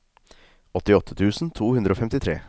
åttiåtte tusen to hundre og femtitre